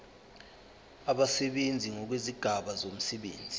abasebenzi ngokwezigaba zomsebenzi